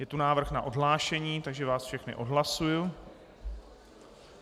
Je tu návrh na odhlášení, takže vás všechny odhlašuji.